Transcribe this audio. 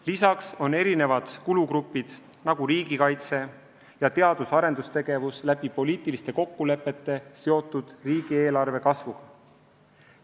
Lisaks on teatud kulugrupid, nagu riigikaitse ja teadus-arendustegevus, poliitiliste kokkulepete kohaselt seotud riigieelarve kasvuga.